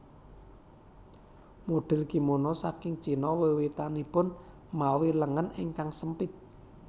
Modhel kimono saking Cina wiwitanipun mawi lengen ingkang sempit